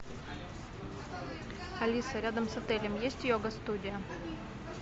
алиса рядом с отелем есть йога студия